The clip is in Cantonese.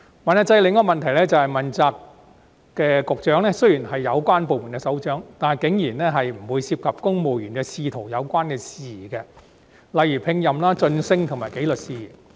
問責制的另一個問題，是問責局長雖然是有關部門的首長，但竟然不會涉及公務員仕途的有關事宜，例如聘任、晉升及紀律事宜。